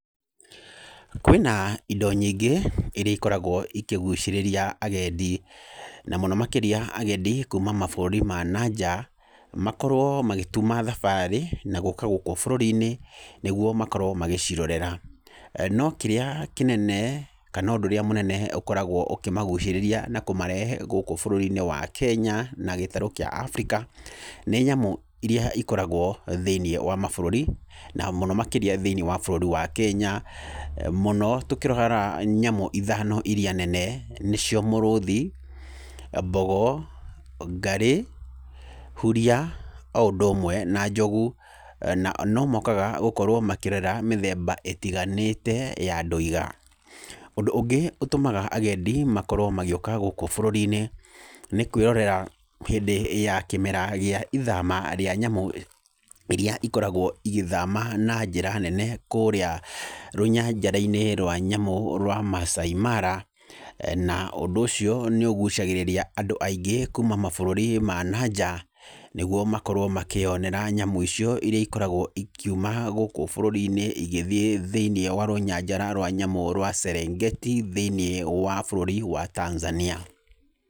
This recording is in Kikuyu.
Kwĩna indo nyingĩ iria ikoragwo ikĩgucĩrĩria agendi, na mũno makĩria agendi kuma mabũrũri ma nanja, makorwo magĩtuma thabarĩ na gũka gũkũ bũrũri-inĩ nĩgwo makorwo magĩcirorera. No kĩrĩa kĩnene kana ũndũ ũrĩa mũnene ũkoragwo ũkĩmagucĩrĩria na kũmarehe gũkũ bũrũri-inĩ wa Kenya na gĩtaru kĩa Africa, nĩ nyamũ iria ikoragwo thĩiniĩ wa mabũrũri, na mũno makĩria thĩiniĩ wa bũrũri wa Kenya, mũno tũkĩrora nyamũ ithano iria nene nĩcio mũrũthi, mbogo, ngarĩ, huria o ũndũ ũmwe na njogu. Na no mokaga gũkorwo makĩrerera mĩthemba ĩtiganĩte ya dwĩga. Ũndũ ũngĩ ũtũmaga agendi makorwo magĩũka gũkũ bũrũri-inĩ, nĩ kwĩrorera hĩndĩ ya kĩmera gĩa ithama rĩa nyamũ iria ikoragwo igĩthama na njĩra nene kũrĩa rũnyanjara-inĩ rwa nyamũ rwa Masaai Mara, na ũndũ ũcio nĩ ũgucagĩrĩria andũ aingĩ kuma mabũrũri ma nanja, nĩgwo makorwo makĩyonera nyamũ icio iria ikoragwo ikiuma gũkũ bũrũri-inĩ igĩthiĩ thĩiniĩ wa rũnyanjara rwa nyamũ rwa Serengeti thĩiniĩ wa bũrũri wa Tanzania.